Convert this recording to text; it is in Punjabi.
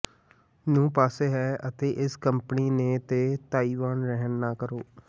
ਨੂੰ ਪਾਸੇ ਹੈ ਅਤੇ ਇਸ ਕੰਪਨੀ ਨੇ ਦੇ ਤਾਇਵਾਨ ਰਹਿਣ ਨਾ ਕਰੋ